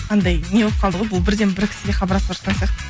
андай не болып қалды ғой бұл бірден бір кісіге хабарласыватқан сияқты